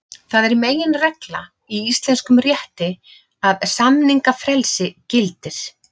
Það er meginregla í íslenskum rétti að samningafrelsi gildir.